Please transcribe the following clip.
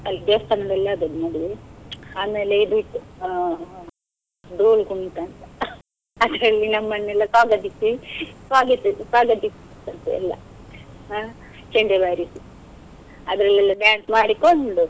ಅಲ್ಲಿ ದೇವಸ್ಥಾನದಲ್ಲಿ ಆದದ್ದು ಮದುವೆ, ಆಮೇಲೆ ಇದು ಇತ್ತು ಆ ದೋಲು ಕುಣಿತ ಅಂತ ಅದ್ರಲ್ಲಿ ನಮ್ಮನ್ನೆಲ್ಲ ಸ್ವಾಗತಿಸಿ, ಸ್ವಾಗತಿಸಿ ಸ್ವಾಗತಿಸದ್ದೆಲ್ಲ, ಹ್ಮ್ ಚಂಡೆ ಬಾರಿಸಿ ಅದ್ರಲ್ಲಿ ಎಲ್ಲ dance ಮಾಡಿಕೊಂಡು.